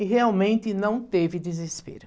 E realmente não teve desespero.